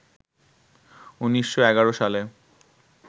১৯১১ সালে